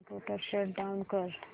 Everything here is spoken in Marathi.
कम्प्युटर शट डाउन कर